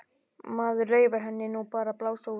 Maður leyfir henni nú bara að blása út.